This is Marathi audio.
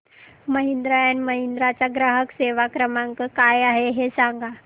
महिंद्रा अँड महिंद्रा चा ग्राहक सेवा क्रमांक काय आहे हे सांगा